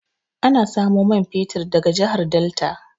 Ana samo man fetir daga jahar delta